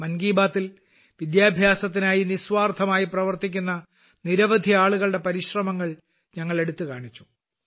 മൻ കി ബാത്തിൽ വിദ്യാഭ്യാസത്തിനായി നിസ്വാർത്ഥമായി പ്രവർത്തിക്കുന്ന നിരവധി ആളുകളുടെ പരിശ്രമങ്ങൾ ഞങ്ങൾ എടുത്തുകാണിച്ചു